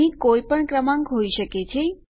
અહીં કોઈપણ ક્રમાંક હોય શકે છે